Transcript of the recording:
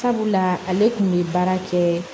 Sabula ale kun bɛ baara kɛ